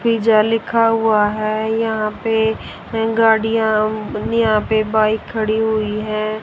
Pizza लिखा हुआ है याहं पे हैं गाड़िया यहां पे बाइक खड़ी हुई हैं।